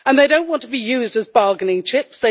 They do not want to be used as bargaining chips